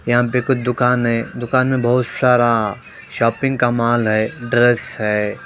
यहां पे कुछ दुकान है दुकान में बहुत सारा शॉपिंग का माल है ड्रेस है।